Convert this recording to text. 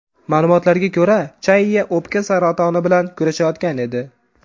Ma’lumotlarga ko‘ra, Chayya o‘pka saratoni bilan kurashayotgan edi.